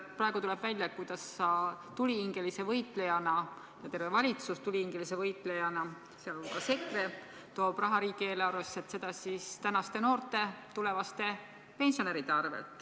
Praegu tuleb välja, kuidas sa tulihingelise võitlejana ja terve valitsus, sh EKRE, tulihingelise võitlejana toob raha riigieelarvesse tänaste noorte, tulevaste pensionäride arvel.